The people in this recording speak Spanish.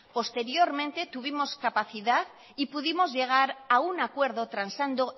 posteriormente tuvimos capacidad y pudimos llegar a un acuerdo transando